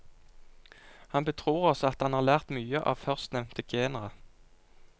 Han betror oss at han har lært mye av førstnevnte genre.